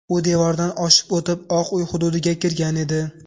U devordan oshib o‘tib, Oq uy hududiga kirgan edi.